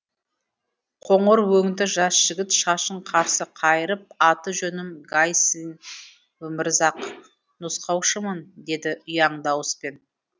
қоңыр өңді жас жігіт шашын қарсы қайырып аты жөнім гайсын өмірзақ нұсқаушымын деді ұяң дауыспен